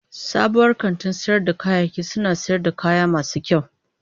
Sabuwar kantin sayar da kayayyaki suna sayar da kaya masu kyau.